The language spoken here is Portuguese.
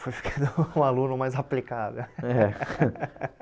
Fui ficando um aluno mais aplicado é.